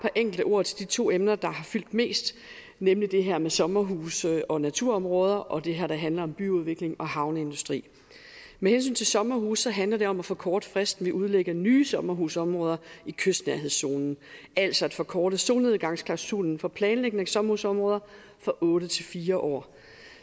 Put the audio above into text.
enkelte ord til de to emner der har fyldt mest nemlig det her med sommerhuse og naturområder og det her der handler om byudvikling og havneindustri med hensyn til sommerhuse handler det om at forkorte fristen ved at udlægge nye sommerhusområder i kystnærhedszonen altså at forkorte solnedgangsklausulen for planlægning af sommerhusområder fra otte til fire år